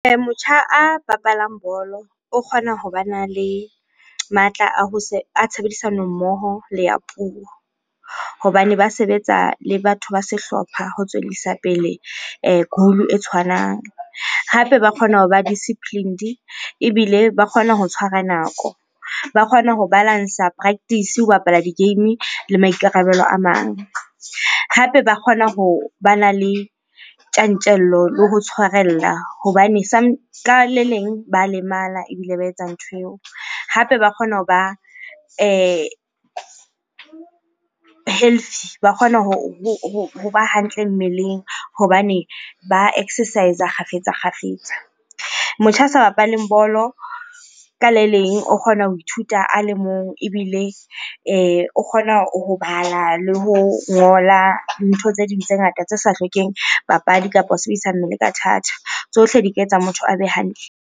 Motjha a bapalang bolo o kgona ho bana le matla a ho a tshebedisano mmoho le a puo. Hobane ba sebetsa le batho ba sehlopha ho tswellisa pele goal e tshwanang. Hape ba kgona hoba disciplined ebile ba kgona ho tshwara nako. Ba kgona ho balance-a practice ho bapala di-game le maikarabelo a mang. Hape ba kgona ho bana le tjantjello le ho tshwarella hobane ka le leng ba lemala ebile ba etsa ntho eo. Hape ba kgona hoba healthy, ba kgona hoba hantle mmeleng hobane ba exercise-a kgafetsa-kgafetsa. Motjha ya sa bapaleng bolo ka leleng, o kgona ho ithuta a le mong ebile o kgona ho bala le ho ngola. Ntho tse ding tse ngata tse sa hlokeng papadi kapa ho sebedisa mmele ka thata. Tsohle di ka etsa motho a be hantle.